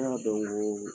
An y'a dɔn ko